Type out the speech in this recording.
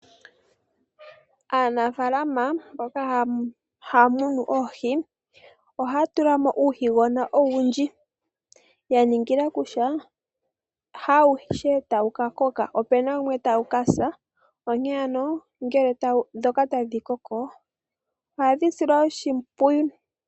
Aanafalama mboka haya munu oohi ohaya tulamo uuhigona owundji ya ningila kutya haawuhe tawu ka koka opu na wumwe tawu ka sa onkene ano ngele ndhoka tadhi koko ohadhi silwa oshimpwiyu.